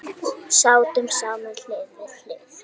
Sátum saman hlið við hlið.